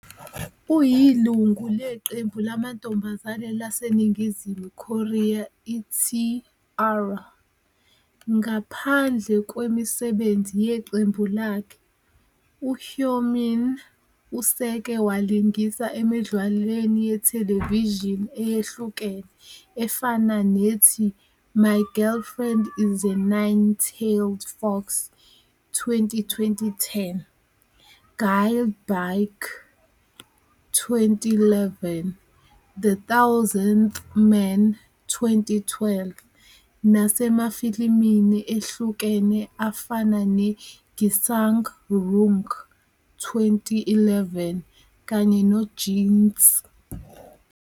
Uyilungu leqembu lamantombazane laseNingizimu Korea i- T-ara. Ngaphandle kwemisebenzi yeqembu lakhe, uHyomin useke walingisa emidlalweni yethelevishini eyahlukene efana "nethi My Girlfriend is a Nine-Tailed Fox", 2010, "Gye Baek", 2011, "The Thousandth Man", 2012, "nasemafilimini ehlukene afana noGisaeng Ryung", 2011, kanye "noJinx!!!".